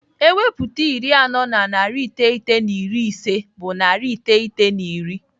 Ewepụta iri anọ na narị iteghete na iri ise bụ narị iteghete na iri.